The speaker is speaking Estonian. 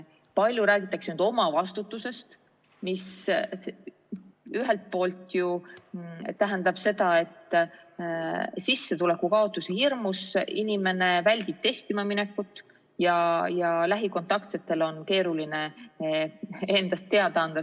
Palju räägitakse omavastutusest, mis ühelt poolt ju tähendab seda, et sissetuleku kaotuse hirmus inimene väldib testima minekut ja lähikontaktsetel on keeruline endast teada anda.